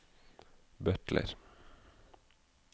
butler